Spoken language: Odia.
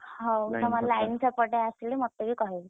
ହଉ ତମର line ସେପଟେ ଆସିଲେ ମତେ ବି କହିବ।